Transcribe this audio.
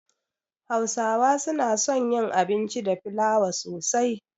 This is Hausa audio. Hausawa suna son yin abinci da fliawa sosai.